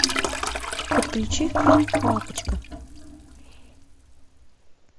подключи фильм лапочка